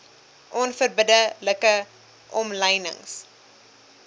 onverbidde like omlynings